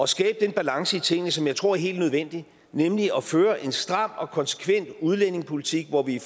skabe den balance i tingene som jeg tror er helt nødvendig nemlig at føre en stram og konsekvent udlændingepolitik hvor vi